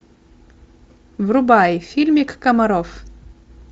врубай фильмик комаров